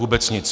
Vůbec nic.